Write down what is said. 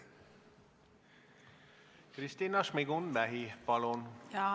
Kristina Šmigun-Vähi, palun!